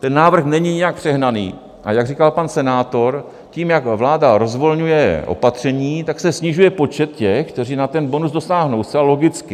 Ten návrh není nijak přehnaný, a jak říkal pan senátor, tím, jak vláda rozvolňuje opatření, tak se snižuje počet těch, kteří na ten bonus dosáhnou, zcela logicky.